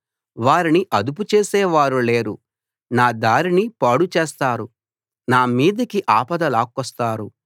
వారిని అదుపు చేసే వారు లేరు నా దారిని పాడు చేస్తారు నా మీదికి ఆపద లాక్కొస్తారు